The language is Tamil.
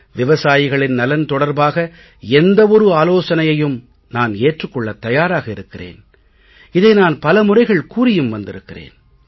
விவசாயிகள் நலன் தொடர்பாக எந்த ஒரு ஆலோசனையையும் நான் ஏற்றுக் கொள்ளத் தயாராக இருக்கிறேன் இதை நான் பல முறைகள் கூறியும் வந்திருக்கிறேன்